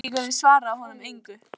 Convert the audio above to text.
Grindvíkingurinn svaraði honum engu.